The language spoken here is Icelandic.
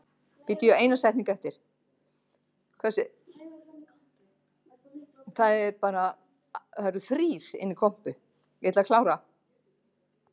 Samt vissi Ragnhildur ekkert hvað hún ætlaði að gera þegar hún kæmi suður til borgarinnar.